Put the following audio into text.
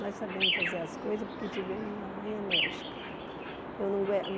Nós sabemos fazer as coisas porque tivemos uma mãe enérgica. Eu não